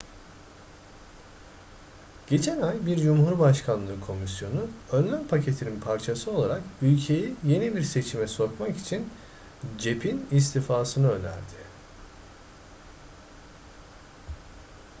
geçen ay bir cumhurbaşkanlığı komisyonu önlem paketinin parçası olarak ülkeyi yeni bir seçime sokmak için cep'in istifasını önerdi